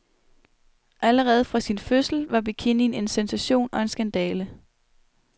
Allerede fra sin fødsel var bikinien en sensation og en skandale.